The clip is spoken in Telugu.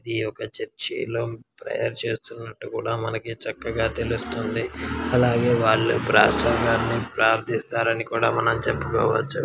ఈ యొక్క చర్చి లో ప్రేయర్ చేస్తున్నట్టు కూడా మనకు చక్కగా తెలుస్తుంది. అలాగే వాళ్ళు ప్రాసంగాని ప్రార్థిస్తారని కూడా మనం చెప్పుకోవచ్చు .